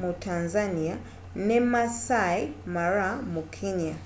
mu tanzania ne maasai mara mu kenya